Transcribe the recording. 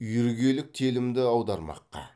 үйіргелік телімді аудармаққа